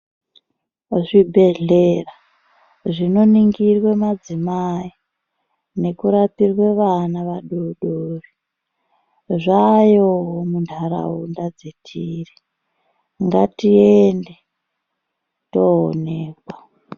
Kuzvibhedhlera zvinoningirwe madzimai nekurapiwe vana vadoodori zvaayowo muntaraunda dzetiri .Ngatiende toonekwa.